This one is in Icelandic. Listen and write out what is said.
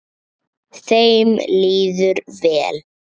Þeim líður vel.